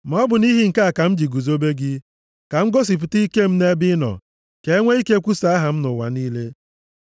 Ma ọ bụ nʼihi nke a ka m ji guzobe gị, ka m gosipụta ike m nʼebe ịnọ, ka e nwe ike kwusaa aha m nʼụwa niile.